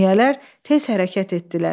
Əmniyyələr tez hərəkət etdilər.